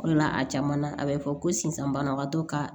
O de la a caman na a bɛ fɔ ko sisan banabagatɔ ka